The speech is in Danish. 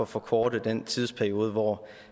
forkorte den tidsperiode hvor